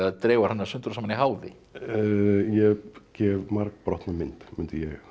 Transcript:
dregur hana sundur og saman í háði ég gef margbrotna mynd myndi ég